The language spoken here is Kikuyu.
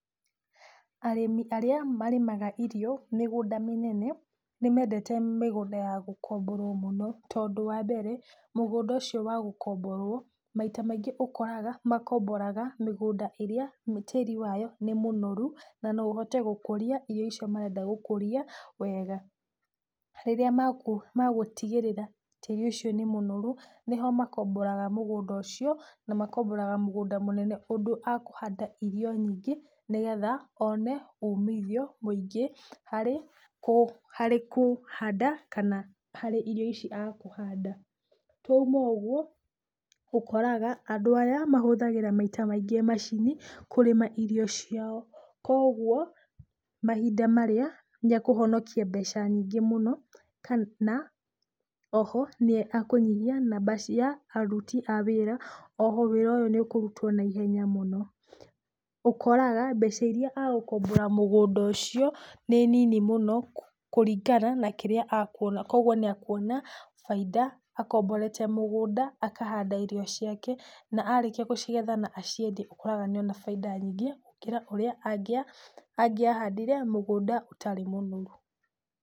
Arĩmi arĩa marĩmaga irio mĩgũnda mĩnene, nĩmendete mĩgũnda ya gũkomborwo mũno, tondũ wa mbere mũgũnda ũcio wa gũkomborwo maita maingĩ ũkoraga, makomboraga mĩgũnda ĩrĩa tĩri wayo nĩ mũnoru na no ũhote gũkũria irio icio marenda gũkũria wega. Rĩrĩa megũtigĩrĩra tĩri ũcio nĩ mũnoru, nĩho makomboraga mũgũnda ũcio, na makomboraga mũgũnda mũnene ũndũ akũhanda irio nyingĩ nĩgetha one umithio mũingĩ harĩ kũ harĩ kũhanda kana harĩ irio ici akũhanda. Twauma ũguo, ũkoraga andũ aya mahũthagĩra maita maingĩ macini kũrĩma irio ciao, kuoguo mahinda marĩa nĩekũhonokia mbeca nyingĩ mũno kana oho nĩekũnyihia namba cia aruti a wĩra, oho wĩra ũyũ nĩũkũrutwo naihenya mũno. Ũkoraga mbeca iria agũkombora mũgũnda ũcio nĩ nini mũno kũringana na kĩrĩa akuona, kuoguo nĩakuona bainda akomborete mũgũnda akahanda irio ciake na arĩkia gũcigetha na aciendie, ũkoraga nĩona bainda nyingĩ gũkĩra ũrĩa angĩahandire mũgũnda ũtarĩ mũnoru.